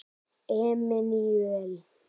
Emanúel